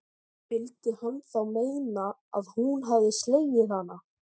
Vildi hann þá meina að hún hefði slegið hana?